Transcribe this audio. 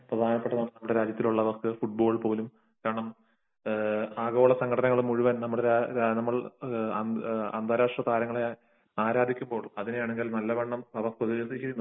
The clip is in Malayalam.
കാരണം ആഗോളസംഘടനകൾ പോലും മുഴുവൻ അന്താരാഷ്ട്ര താരങ്ങളെ ആരാധിക്കുമ്പോൾ അതിനെയാണെങ്കിൽ അവർ നല്ലവണ്ണം